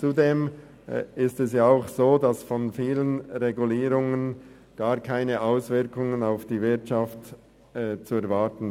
Zudem sind von vielen Regulierungen gar keine Auswirkungen auf die Wirtschaft zu erwarten.